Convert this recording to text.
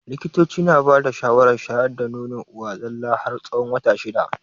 Likitocin na bada shawara shayar da nono uwa tsalla har tsawon wata shida.